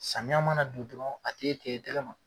Samiya mana don dɔrɔn a t'e te i tɛkɛ ma.